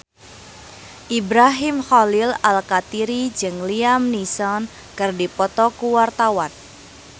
Ibrahim Khalil Alkatiri jeung Liam Neeson keur dipoto ku wartawan